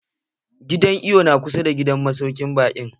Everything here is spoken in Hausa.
Gidan iwon na kusa da masaukin baƙin?